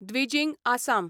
Dwijing Assam